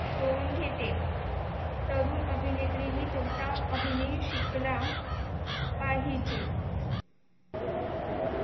tone घेते तरुण अभिनेत्रीनी कोणता अभिनय शिकला. पाहिजे.